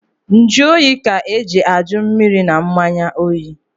Njụoyi ka eji ajụ mmiri na mmanya oyi.